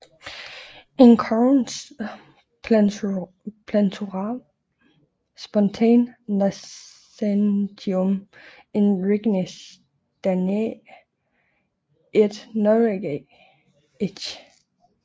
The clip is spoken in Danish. Icones plantarum sponte nascentium in regnis Daniæ et Norvegiæ etc